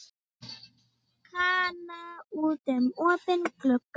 Kana út um opinn glugga.